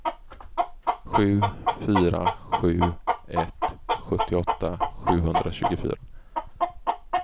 sju fyra sju ett sjuttioåtta sjuhundratjugofyra